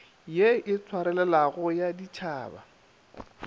ye e swarelelago ya ditšhaba